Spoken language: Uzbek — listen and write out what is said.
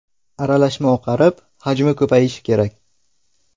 Aralashma oqarib, hajmi ko‘payishi kerak.